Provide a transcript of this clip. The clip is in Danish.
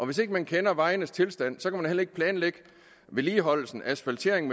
hvis ikke man kender vejenes tilstand kan man heller ikke planlægge vedligeholdelse asfaltering